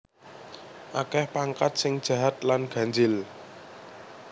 Akeh pangkat sing jahat lan ganjil